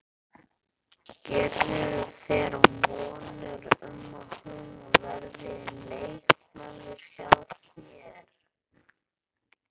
Gerirðu þér vonir um að hún verði leikmaður hjá þér?